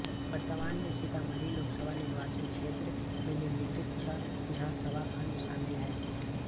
वर्तमान में सीतामढ़ी लोकसभा निर्वाचन क्षेत्र में निम्नलिखित छह विधानसभा खंड शामिल हैं